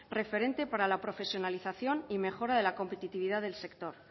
referente para la profesionalización y mejora de la competitividad del sector